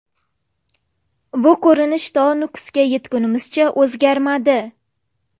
Bu ko‘rinish to Nukusga yetgunimizcha o‘zgarmadi.